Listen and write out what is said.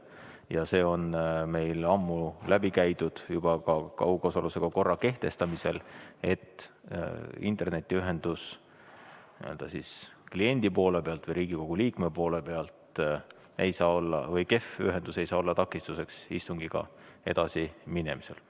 Ja see on meil ammu läbi käidud teema juba kaugosalusega istungi korra kehtestamisel, et kehv internetiühendus kliendi ehk Riigikogu liikme poole pealt ei saa olla takistuseks istungiga edasi minemisel.